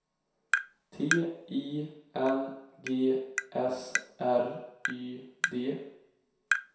T I N G S R Y D